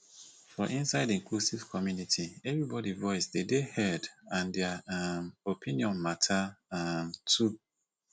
for inside inclusive community everybody voice de dey heard and dia um opinion matter um too